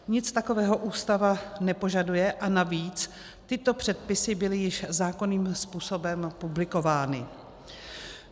Nic takového Ústava nepožaduje, a navíc tyto předpisy byly již zákonným způsobem publikovány.